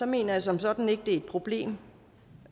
mener jeg som sådan ikke at det er et problem